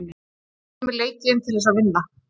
Við förum í leikinn til þess að vinna.